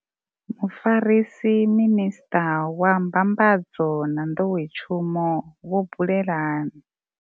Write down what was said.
Mufarisa minisṱa wa mbambadzo na nḓowetshumo vho Bulelani.